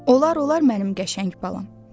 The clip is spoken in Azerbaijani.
Olar-olar mənim qəşəng balam.